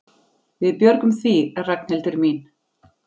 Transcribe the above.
Við björgum því, Ragnhildur mín.